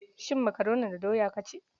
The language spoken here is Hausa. Shin makaroni da doya ka ci?